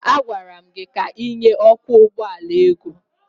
A gwara m gị ka ịnye ọkwọ ụgbọala ego!